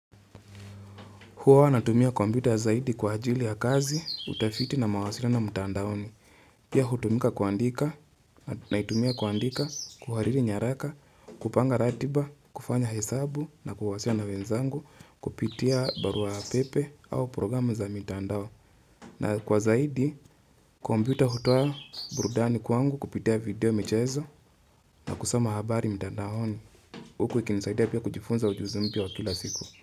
Huwa natumia compyuta zaidi kwa ajili ya kazi, utafiti na mawasiliano mtandaoni. Pia hutumika kuandika, naitumia kuandika, kuhariri nyaraka, kupanga ratiba, kufanya hesabu na kuwasiliana na wenzangu, kupitia barua ya pepe au programu za mitandao. Na kwa zaidi, kwa compyuta hutoa burudani kwangu kupitia video michezo na kusoma habari mtandaoni. Huku ikinisaidia pia kujifunza ujuzi mpya wa kila siku.